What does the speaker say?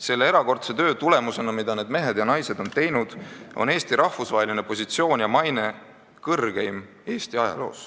Selle erakordse töö tulemusena, mida need mehed ja naised on teinud, on Eesti rahvusvaheline positsioon ja maine kõrgemad kui kunagi varem Eesti ajaloos.